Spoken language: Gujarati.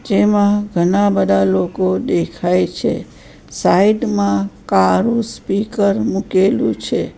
જેમાં ઘણા બધા લોકો દેખાય છે સાઈડ માં કારું સ્પીકર મૂકેલું છે.